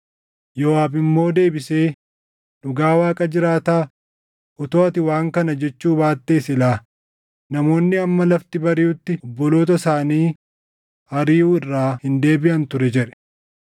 Yooʼaab immoo deebisee, “Dhugaa Waaqa jiraataa, utuu ati waan kana jechuu baattee silaa namoonni hamma lafti bariʼutti obboloota isaanii ariʼuu irraa hin deebiʼan ture” jedhe.